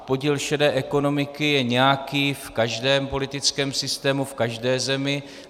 Podíl šedé ekonomiky je nějaký - v každém politickém systému, v každé zemi.